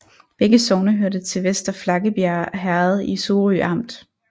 Begge sogne hørte til Vester Flakkebjerg Herred i Sorø Amt